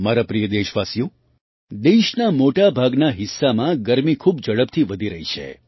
મારા પ્રિય દેશવાસીઓ દેશના મોટા ભાગના હિસ્સામાં ગરમી ખૂબ ઝડપથી વધી રહી છે